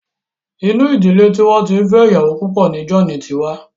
Inú ìdílé tí wọ́n ti fẹ́ iyawo púpọ̀ ni wọ́n bí John.